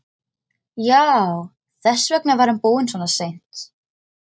Já, þess vegna var hann búinn svona seint.